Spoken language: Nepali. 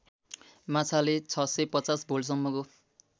माछाले ६५० भोल्टसम्मको